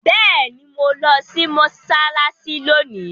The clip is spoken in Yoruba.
Béèni mọ lò sí Mossalassi lóni!